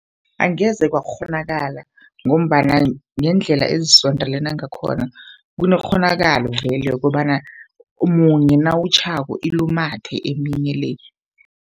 Angeze kwakghonakala, ngombana ngendlela ezisondelene ngakhona. Kunekghonakalo vele yokobana munye nawutjhako, ilumathe eminye le.